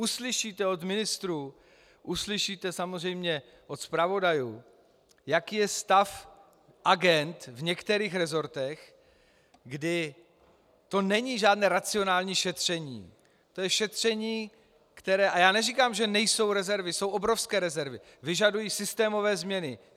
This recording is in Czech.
Uslyšíte od ministrů, uslyšíte samozřejmě od zpravodajů, jaký je stav agend v některých resortech, kdy to není žádné racionální šetření, to je šetření, které, a já neříkám, že nejsou rezervy, jsou obrovské rezervy, vyžaduje systémové změny.